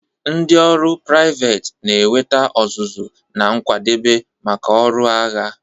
Ndị ọrụ priveti na-enweta ọzụzụ na nkwadebe maka ọrụ agha.